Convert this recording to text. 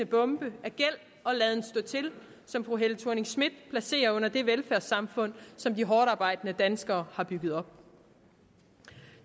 bombe af gæld og laden stå til som fru helle thorning schmidt placerer under det velfærdssamfund som hårdtarbejdende danskere har bygget op